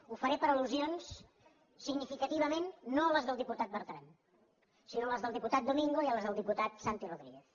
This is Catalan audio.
ho faré per al·lusions significativament no les del diputat bertran sinó les del diputat domingo i les del diputat santi rodríguez